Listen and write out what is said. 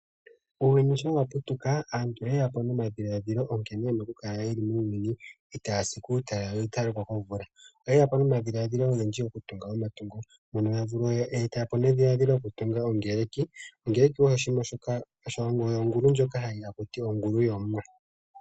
Uuyuni sho wa putuka, aantu oyeya po no madhilaladhilo nkene yena oku kala yeli miuyuni, itaa yasi kuu talala yo itaya lokwa komvula. Oye po no madholadhilo ogendji oku tunga oma tungo mono ya eta po edhiladhilo lyo ku tunga ongerki. Ongerki oyo ongulu ndjoka ha kutiwa ongulu yOmuwa